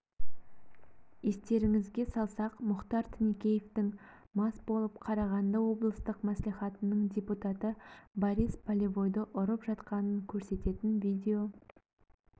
естеріңізге салсақ мұхтар тінікеевтің мас болып қарағанды облыстық мәслихатының депутаты борис полевойды ұрып жатқанын көрсететін видео